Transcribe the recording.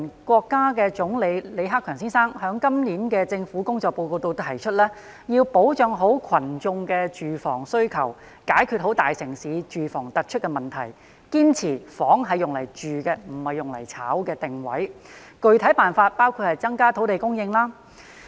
國家總理李克強先生在今年的政府工作報告中提出，要保障群眾的住房需求，解決大城市住房突出的問題，堅持"房子是用來住的，不是用來炒的"的定位，具體辦法包括增加土地供應。